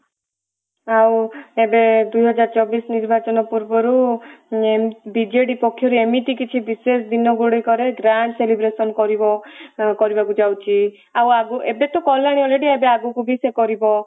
ଆଉ ଏବେ ଦୁଇ ହଜାର ଚବିଶ ନିର୍ବାଚନ ପୂର୍ବରୁ ଇଏ ବିଜେଡି ପକ୍ଷରୁ ଏମିତି ବିଶେଷ ଦିନ ଗୁଡିକ ରେ grand celebrations କରିବ କରିବାକୁ ଯାଉଛି ଆଉ ଆଗ ଏବେ ତ କଲାଣି already ଏବେ ଆଗକୁ ବି ସେ କରିବ